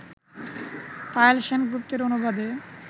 পায়েল সেন গুপ্তের অনুবাদে